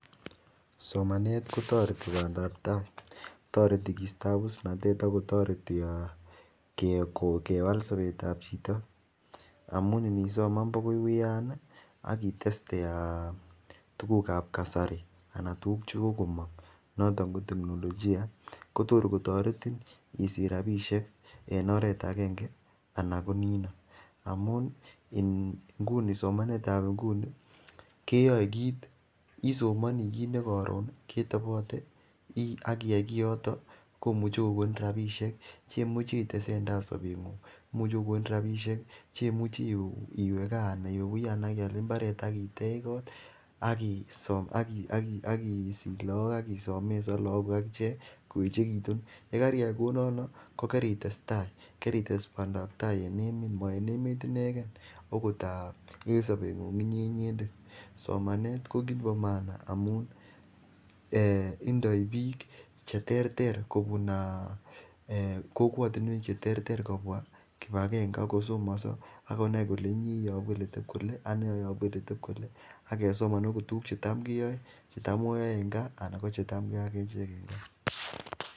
Somaneet kotoreti bandaab tai, toreti keisto abusnatet ak kotoreti um aah [um} kewaal sobeet ab chito amuun nisoman bagaai uyaan iih ak iteste tuguuk ab kasarii anan tuguuk chegogomong' anan ko teknolojia kotogor kotoretiin isich rabishek en oreet agenge anan ko nii , amuun simaneet ab nguni keyoee kiit isomonii kit negaroon ketobote ak iyaai kiyoton komuche kogonin rabishek chemuchi itesentai sobenguung imuche kogonin rabishek chemuche iwee gaa anan iwe uyaan abaiaal imbareet ak iteech koot ak isiich loog ak isomesaan lagook guuk ak tyaa koechegitun, yegariyaai kouunonon kogaritestai karites bandaab tai en emeet, moo en emeet inegeen ogoot aab en sobeng'ung' inyee inyendeet, somaneet ko kiit nebo maana amun indoii biik cheterter kobuun um aaah um kokwotinwek cheterter kobwaa kipagenge ak kosomoso ak konaai kole inyee iyobuu koteb kole, anee oyobuu koteb kole ak kesomaan oot tuguk chetaam kiyoen chetam keyoe en gaa chetaam keyoe ak echeek en gaa.